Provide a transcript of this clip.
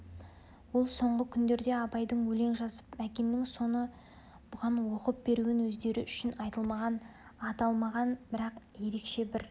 ол соңғы күндерде абайдың өлең жазып мәкеннің соны бұған оқып беруін өздері үшін айтылмаған аталмаған бірақ ерекше бір